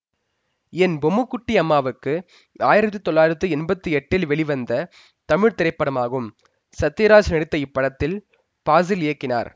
என் பொம்முக்குட்டி அம்மாவுக்கு ஆயிரத்தி தொள்ளாயிரத்தி எம்பத்தி எட்டில் வெளிவந்த தமிழ் திரைப்படமாகும் சத்யராஜ் நடித்த இப்படத்தை பாசில் இயக்கினார்